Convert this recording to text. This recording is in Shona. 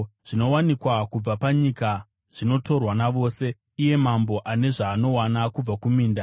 Zvinowanikwa kubva panyika zvinotorwa navose; iye mambo ane zvaanowana kubva kuminda.